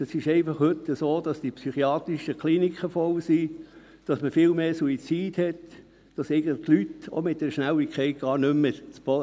Es ist heute einfach so, dass die psychiatrischen Kliniken voll sind, dass man viel mehr Suizide hat, dass die Leute eigentlich mit dieser Schnelligkeit gar nicht mehr klarkommen.